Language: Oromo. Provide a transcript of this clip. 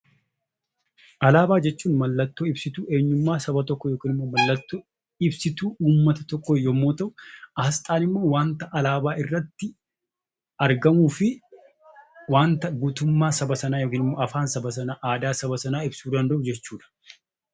Alaabaa jechuun mallattoo ibsituu saba tokkoo yookiin immoo mallattoo ibsituu uummata tokkoo yemmuu ta'u, asxaan immoo waan alaabaa irratti argamuu fi waanta guutummaa saba sanaa yookaan immoo afaan, aadaa saba sanaa ibsu danda'u jechuudha.